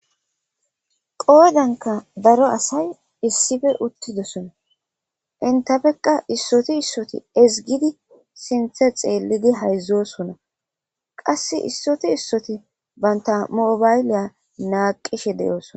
Qoodanka daro asay issippe uttidosona entafekka issoti issoti ezzgidi sinthe xeellidi hayzzosona qassi issoti issoti banta mobayliya naaqishe de'osona.